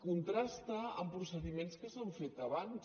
contrasta amb procediments que s’han fet abans